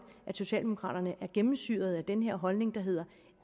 at socialdemokraterne er gennemsyret af den her holdning der hedder